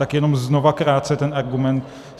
Tak jenom znovu krátce ten argument.